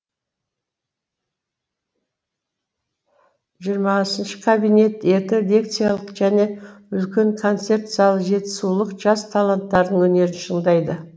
жиырмасыншы кабинет екі лекциялық және үлкен концерт залы жетісулық жас таланттардың өнерін шыңдайды